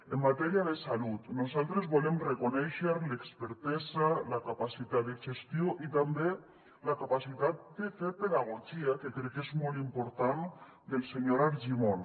en matèria de salut nosaltres volem reconèixer l’expertesa la capacitat de gestió i també la capacitat de fer pedagogia que crec que és molt important del senyor argimon